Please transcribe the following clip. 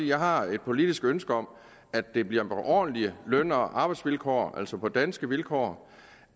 jeg har et politisk ønske om at det bliver på ordentlige løn og arbejdsvilkår altså på danske vilkår